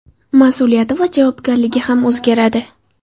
Mas’uliyati va javobgarligi ham o‘zgaradi.